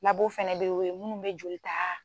fɛnɛ bɛ ye o ye minnu bɛ joli ta.